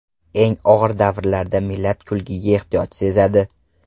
Eng og‘ir davrlarda millat kulgiga ehtiyoj sezadi.